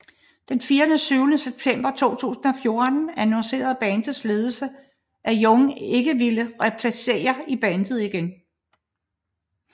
Den 24 September 2014 annoncerede bandets ledelse at Young ikke ville replicere i bandet igen